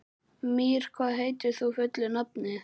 Mír, hvað heitir þú fullu nafni?